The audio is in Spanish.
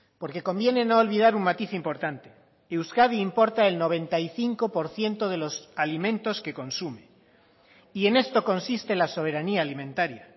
porque conviene no olvidar un matiz importante euskadi importa el noventa y cinco por ciento de los alimentos que consume y en esto consiste la soberanía alimentaria